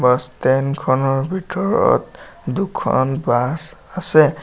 Bus stand খনৰ ভিতৰত দুখন বাছ আছে।